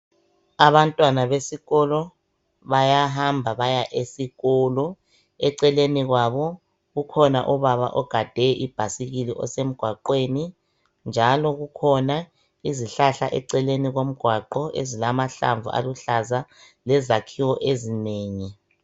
Abantwana besikolo bayahamba baya esikolo eceleni kwabo ukhona ubaba ogade ibhayisikili osemgwaqweni. Njalo kukhona izihlahla eceleni komgwaqo ezilamahlamvu aluhlaza lezakhiwo ezinengi.